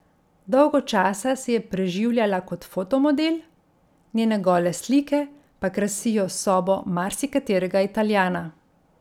Dolgo časa se je preživljala kot fotomodel, njene gole slike pa krasijo sobo marsikaterega Italijana.